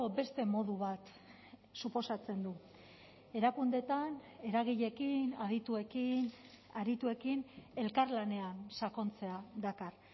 beste modu bat suposatzen du erakundeetan eragileekin adituekin arituekin elkarlanean sakontzea dakar